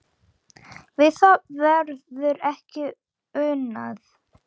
Við það verður ekki unað.